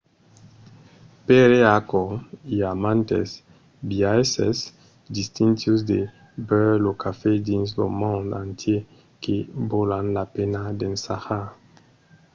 pr'aquò i a mantes biaisses distintius de beure lo cafè dins lo mond entièr que valon la pena d'ensajar